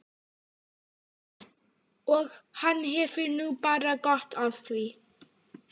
Og hann hefur nú bara gott af því.